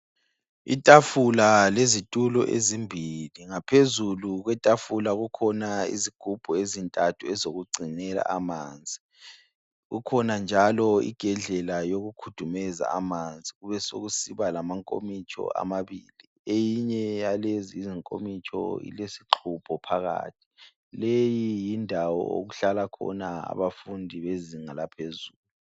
Itafula lezitulo ezimbili. Ngaphezulu kwetafula kukhona izigubhu ezintathu ezokugcinela amanzi. Kukhona njalo igedlela yokukhudumeza amanzi. Kubesokusiba lamankomitsho amabili. Eyinye yalezi izinkomitsho ilesixubho phakathi. Leyi yindawo okuhlala khona abafundi bezinga laphezulu.